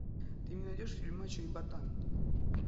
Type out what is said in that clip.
ты мне найдешь фильм мачо и ботан